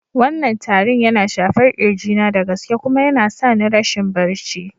Wannan tarin yana shafar kirji na da gaske kuma yana sa ni rashin barci.